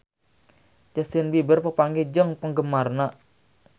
Justin Beiber papanggih jeung penggemarna